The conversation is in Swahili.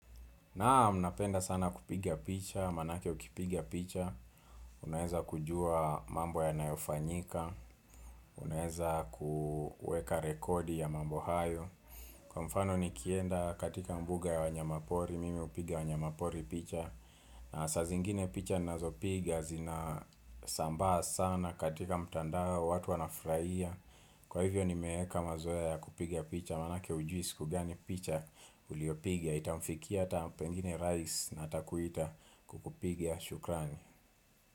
Naam, vnapenda sana kupiga picha, maanake ukipigia picha, unaweza kujua mambo yanayofanyika, unaweza kuweka rekodi ya mambo hayo. Kwa mfano nikienda katika mbuga ya wanyamapori, mimi hupiga wanyamapori picha na saa zingine picha ninazopiga zinasambaa sana katika mtandao watu wanafurahia. Kwa hivyo nimeeka mazoea ya kupiga picha maanake hujui siku gani picha uliopiga itamfikia ata pengine Rais atakuita kukupiga shukrani.